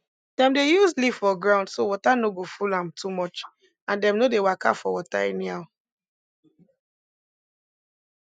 dem dey use leaf for ground so water no go full am too much and dem no dey waka for water anyhow